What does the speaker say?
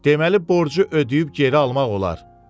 Deməli borcu ödəyib geri almaq olar?